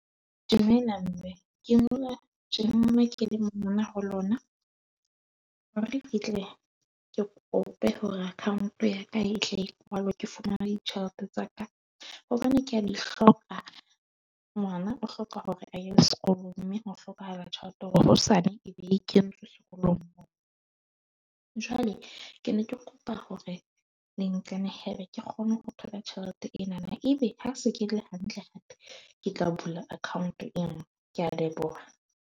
Dumela mme ke mona ho lona ke fihle ke kope hore account ya ka e tla e kwalwe, ke fumane ditjhelete tsa ka hobane ke a di hloka. Ngwana o hloka hore aye sekolong, mme ho hlokahala tjhelete hore hosane a . Jwale ke ne ke kopa hore le nqenehele ke kgone ho thola tjhelete ena. Ebe ha se ke le hantle hape ke tla bula account e nngwe. Ke a leboha.